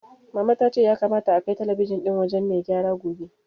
Mama ta ce ya kamata akai talabijin ɗin wajen mai gyara gobe.